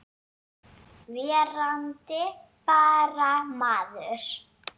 Verandi bara maður.